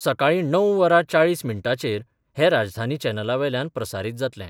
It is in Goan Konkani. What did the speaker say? सकाळीं णव वरां चाळीस मिनटांचेर हे राजधानी चॅनला वेल्यान प्रसारीत जातलें.